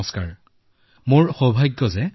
নমস্কাৰ ডাঙৰীয়া